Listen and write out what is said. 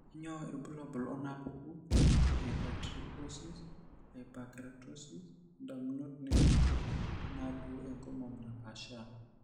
Kainyio irbulabul onaapuku eHypertrichosis, hyperkeratosis, indamunot naimutie, onaalioo enkomon naapaashaa?